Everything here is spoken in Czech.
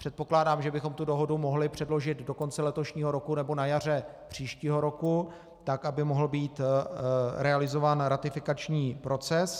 Předpokládám, že bychom tu dohodu mohli předložit do konce letošního roku nebo na jaře příštího roku, tak aby mohl být realizován ratifikační proces.